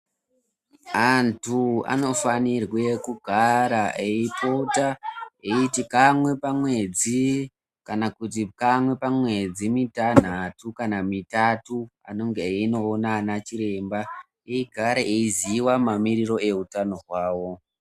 Antu anofanirwe kugara eipota eyiti kamwe pamwedzi kana kuti kamwe pamwedzi mitanhatu kana mitatu anonge eyinoona anachiremba eigare eiziva mamiriro ehutano hwawo.